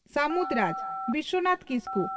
ᱥᱟᱹᱢᱩᱫᱽ ᱨᱟᱡᱽ (ᱵᱤᱥᱣᱚᱱᱟᱛᱷ ᱠᱤᱥᱠᱩ)